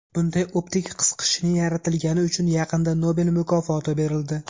Bunday optik qisqichning yaratilgani uchun yaqinda Nobel mukofoti berildi.